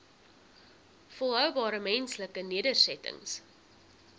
volhoubare menslike nedersettings